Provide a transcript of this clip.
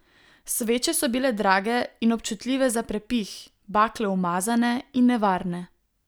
Sveče so bile drage in občutljive za prepih, bakle umazane in nevarne.